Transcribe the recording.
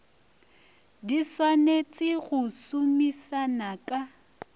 di swanetse go somisana ka